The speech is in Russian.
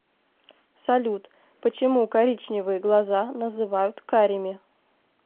салют почему коричневые глаза называют карими